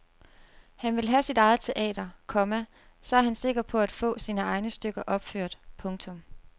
Han vil have sit eget teater, komma så er han sikker på at få sine egne stykker opført. punktum